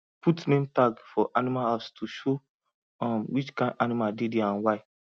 put name tag for animal house to show um which kind animal dey there and why